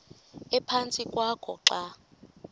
ephantsi kwakho xa